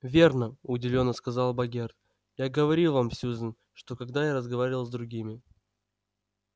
верно удивлённо сказал богерт я говорил вам сьюзен что когда я разговаривал с другими